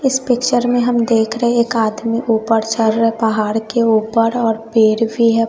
इस पिक्चर में हम देख रहे एक आदमी ऊपर चल रहा है पहाड़ के ऊपर और पेड़ भी है।